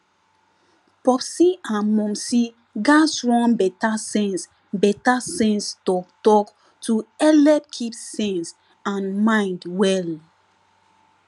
popsi and momsi gatz run better sense better sense talktalk to helep keep sense and mind well